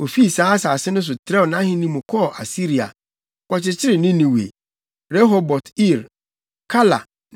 Ofii saa asase no so trɛw nʼahenni mu kɔɔ Asiria, kɔkyekyeree Ninewe. Rehobot-Ir, Kala ne